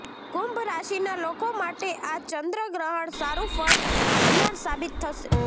કુંભ રાશિના લોકો માટે આ ચંદ્રગ્રહણ સારું ફળ આપનાર સાબિત થશે